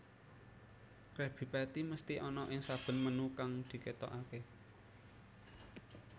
Krabby Patty mesthi ana ing saben menu kang diketokake